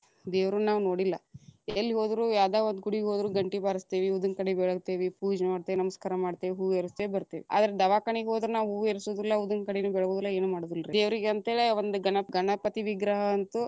ದೇವರುನ್ ನಾವ್‌ ನೋಡಿಲ್ಲಾ, ಎಲ್ ಹೋದ್ರು ಯಾವದ್‌ ಒಂದ ಗುಡಿಗ ಹೋದ್ರು ಘಂಟಿ ಬಾರಸತ್ತೇವಿ, ಉದ್ದಿನಕಡ್ಡಿ ಬೆಳಗತೇವಿ ಪೂಜಿ ಮಾಡ್ತೀವಿ, ನಮಸ್ಕಾರ ಮಾಡತೇವಿ, ಹೂ ಏರಸತೇವಿ ಬತೇ೯ವಿ. ಆದ್ರ ದವಾಕನಿಗ ಹೋದ್ರ ನಾವು ಹೂ ಏರಸುದಿಲ್ಲಾ, ಉದ್ದಿನಕಡ್ಡಿನು ಬೆಳಗುದಿಲ್ಲಾ ಏನು ಮಾಡುದಿಲ್ರಿ. ದೇವರಿಗಂತೇಳೇ ಒಂದ ಗಣಪ್‌~ ಗಣಪತಿ ವಿಗ್ರಹ ಅಂತು.